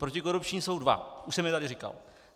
Protikorupční jsou dva, už jsem je tady říkal.